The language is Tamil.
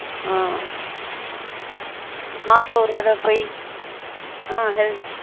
ஆன் மாசம் ஒரு தடவ பெய் ஆன் health